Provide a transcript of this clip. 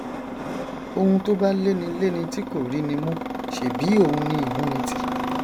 oun tó bá léni léni tí kò ríni mú ṣèbí òun ni ìmúnitì